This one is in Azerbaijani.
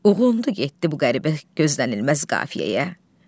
Uğundu getdi bu qəribə gözlənilməz qafiyəyə.